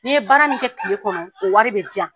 Ni n ye baara min kɛ tile kɔnɔ o wari bɛ diya.